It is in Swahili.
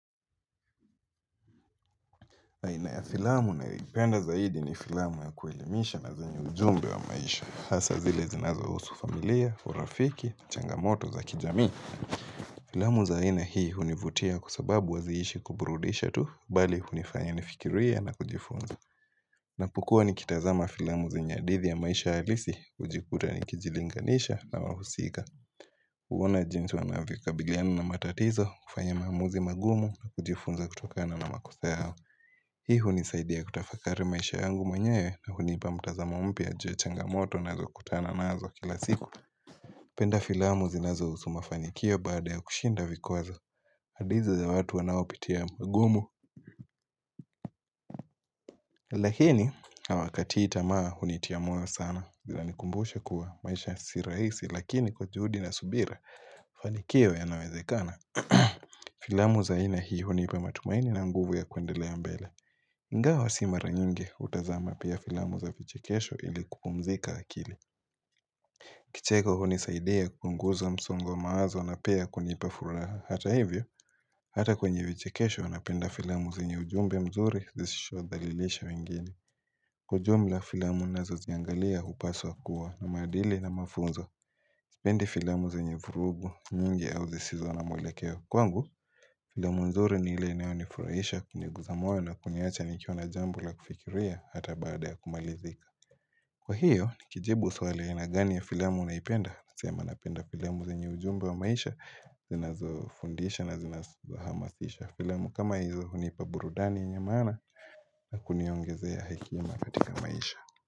Na ya filamu nayoipenda zaidi ni filamu ya kuelimisha na zenye ujumbe wa maisha. Hasa zile zinazohusu familia, urafiki, changamoto za kijami. Filamu za aina hii hunivutia kwa sababu haziishi kuburudisha tu, bali hunifanya nifikirie na kujifunza. Napokuwa nikitazama filamu zenye hadithi ya maisha halisi, hujikuta nikijilinganisha na wahusika. Huona jinsi wanavyokabiliana na matatizo, kufanya maamuzi magumu na kujifunza kutokana na makosa yao. Hii hunisaidia kutafakari maisha yangu mwenyewe na hunipa mtazama mpya za changamoto nazokutana nazo kila siku penda filamu zinazohusu mafanikio baada ya kushinda vikwazo hadi hizo za watu wanaopitia mgumu Lakini hawakatii tamaa hunitia moyo sana zinanikumbusha kuwa maisha si rahisi Lakini kwa juhudi na subira, mafanikio yanawezekana Filamu za aina hii hunipa matumaini na nguvu ya kuendelea mbele ingawa si mara nyingi hutazama pia filamu za vichekesho ili kupumzika akili Kicheko hunisaidia kupunguza msongo wa mawazo na pia kunipa furaha Hata hivyo, hata kwenye vichekesho napenda filamu zenye ujumbe mzuri zishodhalilisha wengeni Kwa ujumla filamu nazoziangalia hupaswa kuwa na madili na mafunzo Sipendi filamu zenye vurugu nyingi au zisizo na mwelekeo kwangu Filamu nzuri ni ile inayonifurahisha kuniguza moyo na kuniacha nikiwa na jambo la kufikiria hata baada ya kumalizika Kwa hiyo nikijibu swali aina gani ya filamu naipenda Nasema napenda filamu zenye ujumbe wa maisha zinazofundisha na zinazohamasisha Filamu kama hizo hunipa burudani yenye maana na kuniongezea hekima katika maisha.